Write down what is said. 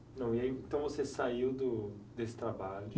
Não, e aí, então você saiu do, desse trabalho?